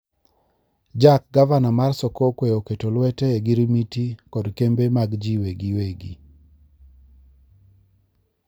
Jack gavana mar sokokwe oketo lwete ogirimiti kod kembe mag ji-gi-wegi.